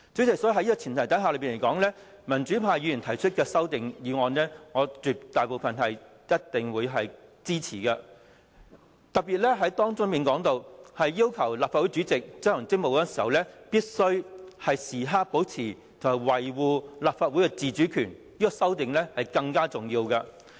因此，代理主席，在這樣的前提之下，民主派議員提出的修正案，絕大部分是我一定會支持的；當中特別要求立法會主席執行職務的時候，必須時刻保持和維護立法會的自主權，這項修正案是更重要的。